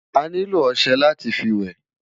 Ániló òṣè láti fi wè